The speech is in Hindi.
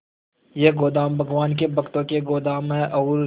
ये गोदाम भगवान के भक्तों के गोदाम है और